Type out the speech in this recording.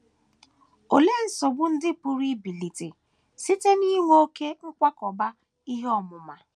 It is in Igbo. Olee nsogbu ndị pụrụ ibilite site n’inwe oké nkwakọba ihe ọmụma?